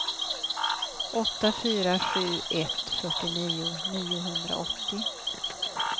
åtta fyra sju ett fyrtionio niohundraåttio